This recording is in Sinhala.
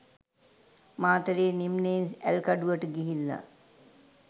මාතලේ නිම්නයෙන් ඇල්කඩුවට ගිහිල්ල.